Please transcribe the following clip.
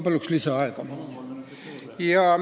Palun lisaaega!